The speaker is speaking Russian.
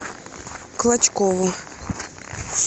клочкову